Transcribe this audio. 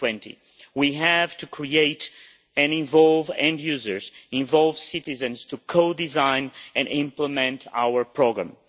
2020. We have to create and involve end users, involve citizens to co design and implement our programme.